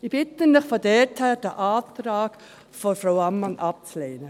Daher bitte ich Sie, den Antrag von Frau Ammann abzulehnen.